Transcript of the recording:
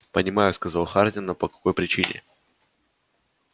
понимаю сказал хардин но по какой причине